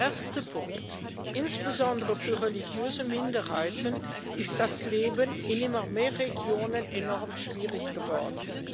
Erster Punkt Insbesondere für religiöse Minderheiten ist das Leben in immer mehr Regionen enorm schwierig geworden.